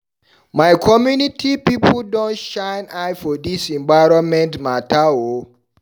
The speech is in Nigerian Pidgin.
My community pipu don shine eye for dis environment mata o.